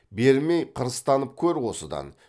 бермей қырыстанып көр осыдан